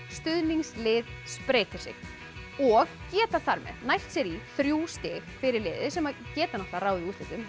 stuðningslið spreytir sig og geta þar með nælt sér í þrjú stig fyrir liðið sem geta ráðið úrslitum